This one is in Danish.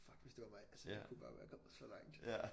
Fuck hvis det var mig altså jeg kunne bare være kommet så langt